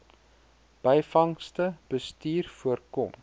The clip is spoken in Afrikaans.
byvangste bestuur voorkom